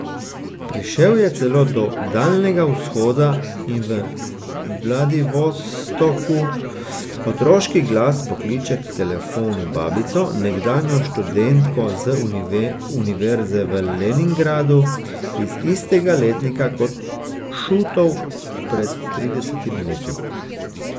Prišel je celo do daljnega Vzhoda in v Vladivostoku otroški glas pokliče k telefonu babico, nekdanjo študentko z univerze v Leningradu, iz istega letnika kot Šutov pred tridesetimi leti.